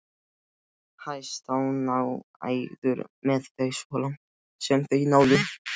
Hæstánægðir með þau svo langt sem þau náðu.